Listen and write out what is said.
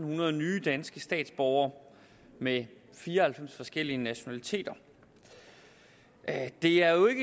hundrede nye danske statsborgere med fire og halvfems forskellige nationaliteter det er jo